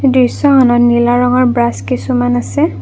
দৃশ্যখনত নীলা ৰঙৰ ব্ৰাছ কিছুমান আছে।